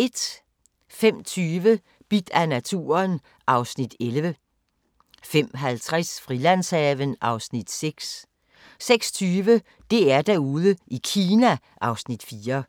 05:20: Bidt af naturen (Afs. 11) 05:50: Frilandshaven (Afs. 6) 06:20: DR-Derude i Kina (Afs. 4)